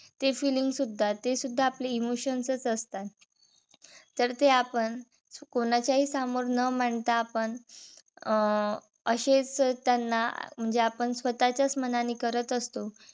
ते feeling सुद्धा ते सुद्धा आपले emotions च असतात. तर ते आपण कोणाच्या हि समोर न मांडता. आपण अं असेच त्यांना म्हणजे आपण स्वतःच्याच मनाने करत असतो.